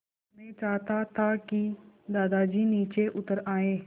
मैं चाहता था कि दादाजी नीचे उतर आएँ